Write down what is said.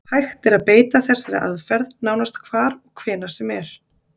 Hægt er að beita þessari aðferð nánast hvar og hvenær sem er.